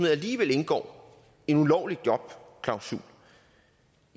alligevel indgår en ulovlig jobklausul